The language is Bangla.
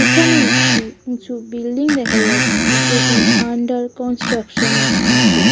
এখানে একটি উঁচু বিল্ডিং দেখা যাচ্ছে যে এটি আন্ডার কনস্ট্রাকশন এ আছে।